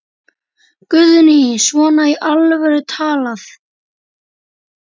Guðný: Svona í alvöru talað?